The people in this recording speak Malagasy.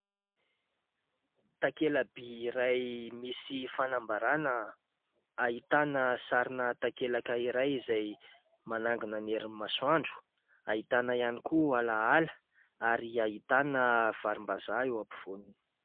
Takela-by iray misy fanambarana : ahitana sarina takelaka iray izay manangona ny herin'ny masoandro, ahitana koa alaala ary ahitana varim-bazaha eo ampovoaniny.